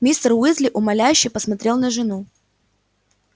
мистер уизли умоляюще посмотрел на жену